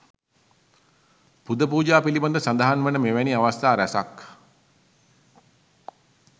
පුද පූජා පිළිබඳ සඳහන් වන මෙවැනි අවස්ථා රැසක්